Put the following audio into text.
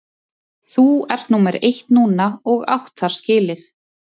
Þú ert númer eitt núna og átt það skilið.